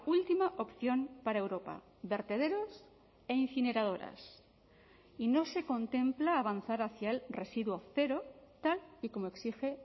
última opción para europa vertederos e incineradoras y no se contempla avanzar hacia el residuo cero tal y como exige